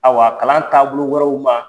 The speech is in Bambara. Awa kalan taabolo wɛrɛw ma.